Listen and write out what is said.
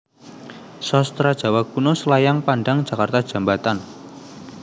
Sastra Jawa Kuno Selayang Pandang Jakarta Djambatan